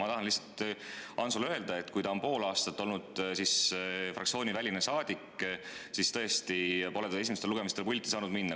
Ma tahan lihtsalt Antsule öelda, et kuna ta on pool aastat olnud fraktsiooniväline saadik, siis pole ta tõesti esimestel lugemistel pulti saanud minna.